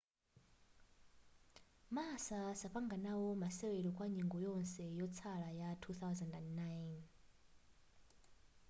massa sapanga nao masewero kwa nyengo yonse ya yotsala ya 2009